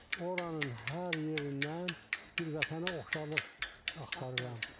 Oranın hər yerindən bir vətənə oxşarlıq axtarıram.